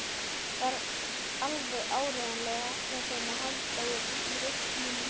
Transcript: Þarf alveg áreiðanlega ekki á þeim að halda í reisunni.